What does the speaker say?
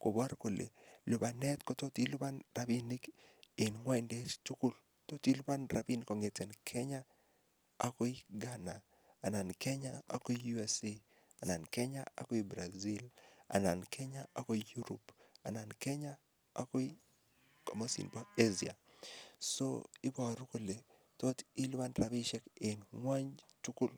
kopor kole lupanet kotot ilupan rapinik en ngwondet tugul. Tot ilupan rapinik kongete Kenya agoi Ghana anan Kenya agoi USA, anan Kenya agoi Brazil, anan Kenya agoi Europe, anan Kenya agoi komosin bo Asia. So ibaru kole tot ilipan rapisiek eng ng'wony tugul.